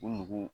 U nugu